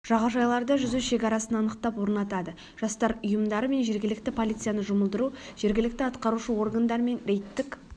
жағажайларда жүзу шекарасын анықтап орнатады жастар ұйымдары мен жергілікті полицияны жұмылдыру жергілікті атқарушы органдармен рейдтік